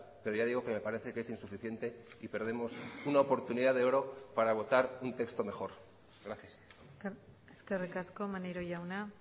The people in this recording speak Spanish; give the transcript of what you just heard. pero ya digo que me parece que es insuficiente y perdemos una oportunidad de oro para votar un texto mejor gracias eskerrik asko maneiro jauna